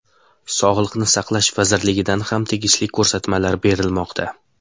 Sog‘liqni saqlash vazirligidan ham tegishli ko‘rsatmalar berilmoqda.